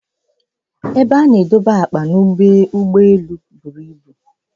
Ebe ana edobe akpa n'ọdụ ụgbọ buru ibu